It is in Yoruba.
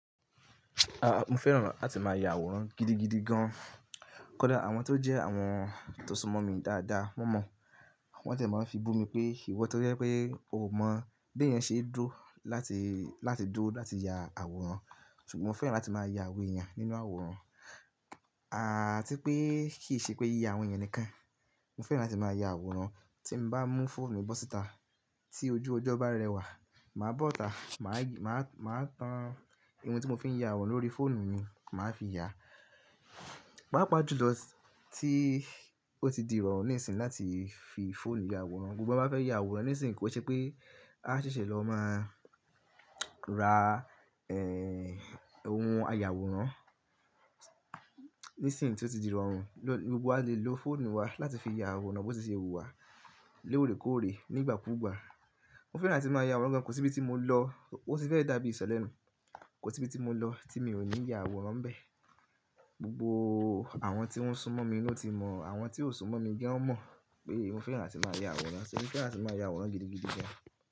Rárá, mo fẹ́ràn láti máa ya àwòrán gidigidi gan. Kódà àwọn tó jẹ́ àwọn tó súnmọ́ mi dáadáa, wọ́n mọ̀, wọ́n tiẹ̀ máa ń fi bú mi pé ìwọ tó jẹ́ pé ò mọ̀ bí èèyàn ṣe dúró láti, láti dúró láti ya àwòrán. Ṣùgbọ́n mo fẹ́ràn láti máa ya àwọn èèyàn nínú àwòrán. À tí pé kì í ṣe pé yíya àwọn èèyàn nìkan. Mo fẹ́ràn láti máa ya àwòrán tí n bá mú fóònù bọ́ síta. Tí ojú ọjọ́ bá rẹwà, màá bọ́ta, màá g-- màá, màá tan ohun tí mo fi ń ya àwòrán lórí fóònù mi, mà á fi ya. Pàápàá jùlọ t--, tí ó ti di ìrọ̀rùn nísìínyi láti fi fóònù ya àwòrán. Gbogbo wa bá fẹ́ ya àwòrán nísìínyi kó ṣe pé á ṣẹ̀ṣẹ̀ lọ máa ra, ẹ́, ohun ààyà àwòrán. Nísìínyi tí ó ti di ìrọ̀rùn, gbogbo wa lè lo fóònù wa láti fi ya àwòrán bó ti ṣe hu wá lórèkóòrè, nígbàkúùgbà. Mo fẹ́ràn láti máa ya àwòrán gan, kò sí ibi tí mo lọ, ó ti fẹ́ dàbí ìsọ̀ lẹ́nu. Kò tí ibi tí mo lọ tí mi ò ní ya àwòrán n bẹ. Gbogbo àwọn tí wọ́n súnmọ́ mi ni naa ti mọ̀, àwọn tí ò súnmọ́ mi boya ọ́ n mọ̀ pé mo fẹ́ràn láti máa ya àwòrán. Pé mo fẹ́ràn láti máa ya àwòrán gidigidi gan.